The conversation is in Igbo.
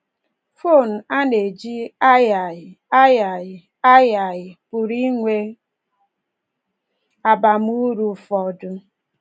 Fon a na-eji agagharị agagharị agagharị pụrụ inwe abamuru ụfọdụ.